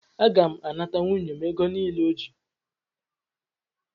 Aga m anata nwunye m ego m nile o ji